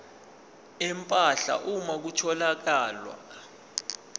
empahla uma kutholakala